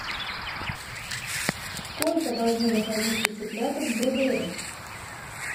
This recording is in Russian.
сколько должны находиться цыплята в брудере